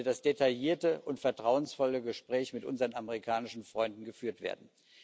das detaillierte und vertrauensvolle Gespräch mit unseren amerikanischen Freunden geführt werden.